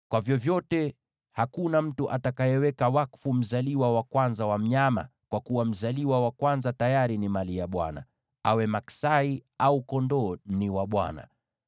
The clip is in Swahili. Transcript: “ ‘Lakini hakuna mtu atakayeweka wakfu mzaliwa wa kwanza wa mnyama, kwa kuwa mzaliwa wa kwanza tayari ni mali ya Bwana ; awe ngʼombe au kondoo, ni wa Bwana .